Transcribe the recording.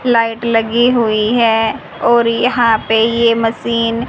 light लगी हुई है और यहां पे ये मशीन --